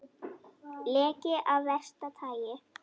Leki af versta tagi